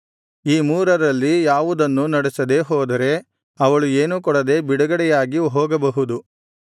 ಈ ಮೂರರಲ್ಲಿ ಯಾವುದನ್ನೂ ನಡೆಸದೆ ಹೋದರೆ ಅವಳು ಏನೂ ಕೊಡದೆ ಬಿಡುಗಡೆಯಾಗಿ ಹೋಗಬಹುದು